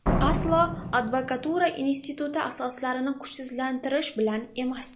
Aslo advokatura instituti asoslarini kuchsizlantirish bilan emas.